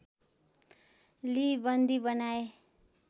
लिई बन्दी बनाए